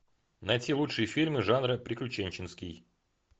найти лучшие фильмы жанра приключенческий